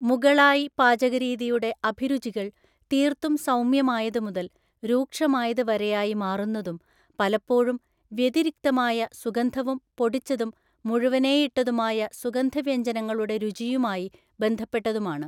മുഗളായി പാചകരീതിയുടെ അഭിരുചികൾ തീര്‍ത്തും സൗമ്യമായത് മുതൽ രൂക്ഷമായത് വരെയായി മാറുന്നതും പലപ്പോഴും വ്യതിരിക്തമായ സുഗന്ധവും പൊടിച്ചതും മുഴുവനേയിട്ടതുമായ സുഗന്ധവ്യഞ്ജനങ്ങളുടെ രുചിയുമായി ബന്ധപ്പെട്ടതുമാണ്.